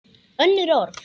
Önnur orð.